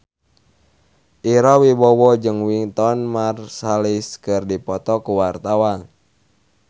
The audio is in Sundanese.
Ira Wibowo jeung Wynton Marsalis keur dipoto ku wartawan